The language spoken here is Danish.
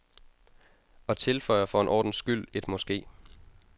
Og tilføjer for en ordens skyld et måske.